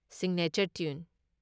signature tune